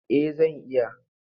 Eh zan iya.